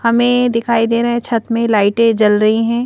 हमें दिखाई दे रहा है छत में लाइटें जल रही हैं।